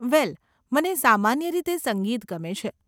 વેલ, મને સામાન્ય રીતે સંગીત ગમે છે.